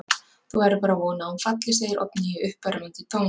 Þú verður bara að vona að hún falli, segir Oddný í uppörvandi tón.